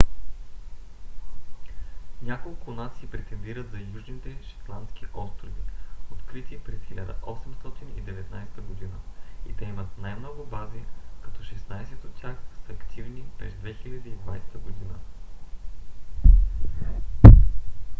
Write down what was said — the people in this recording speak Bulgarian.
няколко нации претендират за южните шетландски острови открити през 1819 г. и те имат най-много бази като шестнайсет от тях са активни през 2020 г